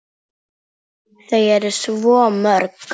Þau eru svo mörg.